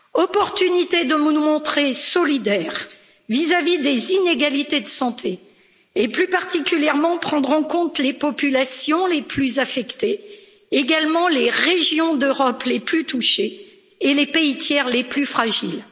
Opportunité de nous montrer solidaires vis à vis des inégalités de santé et, plus particulièrement, de prendre en compte les populations les plus affectées, également les régions d'Europe les plus touchées, et les pays tiers les plus fragiles.